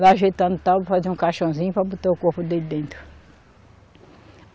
Lá ajeitando tal, fazer um caixãozinho para botar o corpo dele dentro.